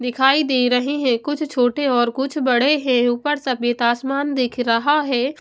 दिखाई दे रहे हैं कुछ छोटे और कुछ बड़े हैं ऊपर सफेद आसमान दिख रहा है।